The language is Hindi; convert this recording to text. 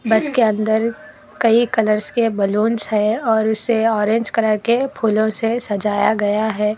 बस के अंदर कई कलर्स के बलूंस है और उसे ऑरेंज कलर के फूलों से सजाया गया है।